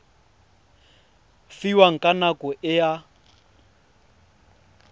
fiwang ka nako e a